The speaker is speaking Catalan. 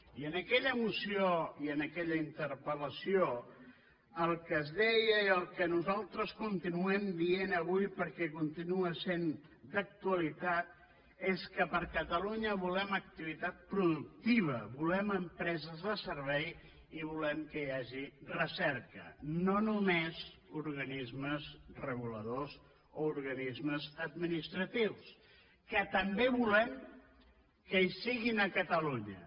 i en aquella moció i en aquella interpel·deia i el que nosaltres continuem dient avui perquè continua sent d’actualitat és que per a catalunya volem activitat productiva volem empreses de servei i volem que hi hagi recerca no només organismes reguladors o organismes administratius que també volem que hi siguin a catalunya